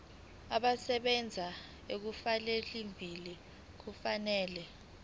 abasebenzi abaselivini kufanele